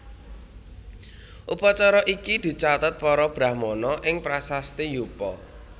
Upacara iki dicatet para Brahmana ing prasasti Yupa